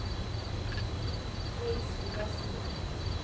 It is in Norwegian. Niels Ovesen